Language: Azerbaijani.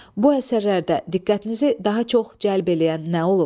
Bu əsərlərdə diqqətinizi daha çox cəlb eləyən nə olub?